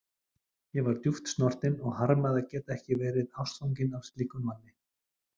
Ég var djúpt snortin og harmaði að geta ekki verið ástfangin af slíkum manni.